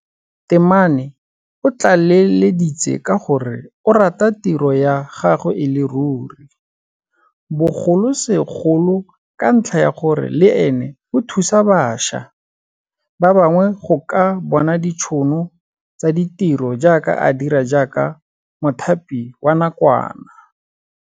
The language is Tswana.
Temane o tlaleleditse ka gore o rata tiro ya gagwe e le ruri, bogolosegolo ka ntlha ya gore le ene o thusa bašwa ba bangwe go ka bona ditšhono tsa ditiro jaaka a dira jaaka mothapi wa nakwana.